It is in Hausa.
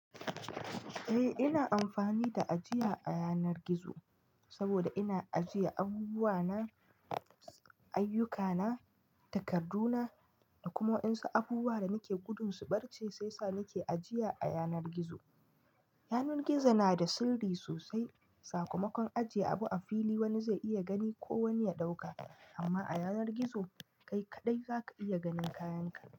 Eh ina amfani da ajiya a yanar gizo. Saboda ina ajiye abubuwa na, ayyuka na, takardu na da kuma wa'yansu abubuwa da nake gudun su barce sai sa nake ajiya a yanar gizo. Yanar gizo na da sirri sosai. Sakamakon ajiye abu a fili wani zai iya gani ko wani ya ɗauka amma a yanar gizo kai kaɗai za ka iya ganin kayan ka.